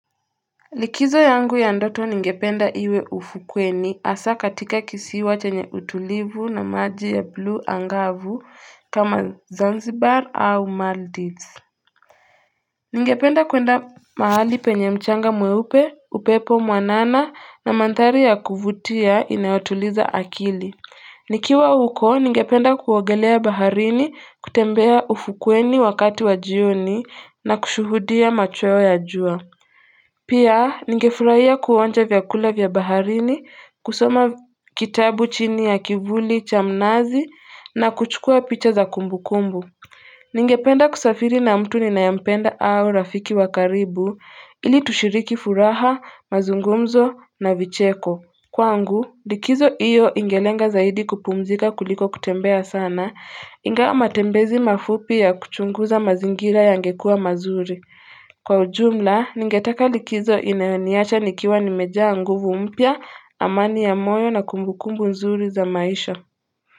Likizo yangu ya ndoto ningependa iwe ufukweni hasa katika kisiwa chenye utulivu na maji ya blue angavu kama zanzibar au Maldives ningependa kwenda mahali penye mchanga mweupe upepo mwanana na mandhari ya kuvutia inaotuliza akili nikiwa huko ningependa kuogelea baharini kutembea ufukweni wakati wa jioni na kushuhudia macho ya jua Pia, ningefurahia kuonja vyakula vya baharini, kusoma kitabu chini ya kivuli cha mnazi na kuchukua picha za kumbukumbu. Ningependa kusafiri na mtu ninayempenda au rafiki wa karibu, ili tushiriki furaha, mazungumzo na vicheko. Kwangu, likizo iyo ingelenga zaidi kupumzika kuliko kutembea sana, ingawa matembezi mafupi ya kuchunguza mazingira yangekuwa mazuri. Kwa ujumla, ningetaka likizo inayoniacha nikiwa nimejaa nguvu mpya, amani ya moyo na kumbukumbu nzuri za maisha.